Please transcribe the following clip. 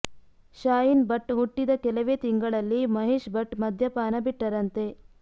ಶಾಹೀನ್ ಭಟ್ ಹುಟ್ಟಿದ ಕೆಲವೇ ತಿಂಗಳಲ್ಲಿ ಮಹೇಶ್ ಭಟ್ ಮದ್ಯಪಾನ ಬಿಟ್ಟರಂತೆ